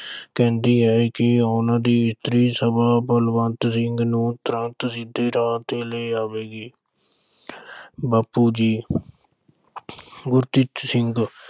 ਕਹਿੰਦੀ ਹੈ ਕਿ ਉਨ੍ਹਾਂ ਦੀ ਇਸਤਰੀ ਸਭਾ ਬਲਵੰਤ ਸਿੰਘ ਨੂੰ ਤੁਰੰਤ ਸਿੱਧੇ ਰਾਹ ਤੇ ਲੈ ਆਵੇਗੀ। ਬਾਪੂ ਜੀ ਗੁਰਕਿਰਤ ਸਿੰਘ